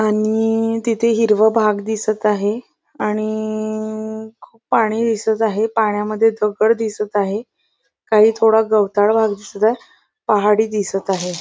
आणि तिथे हिरव भाग दिसत आहे आणि खूप पाणी दिसत आहे पाण्यामध्ये दगड दिसत आहे काही थोडा गवताळ भाग दिसत आहे पहाडी दिसत आहे.